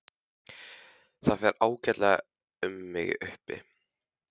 Það fer ágætlega um mig uppi.